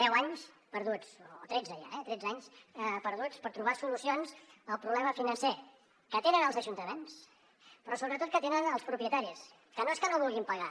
deu anys perduts o tretze ja eh tretze anys perduts per trobar solucions al problema financer que tenen els ajuntaments però sobretot que tenen els propietaris que no és que no vulguin pagar